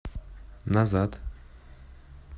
назад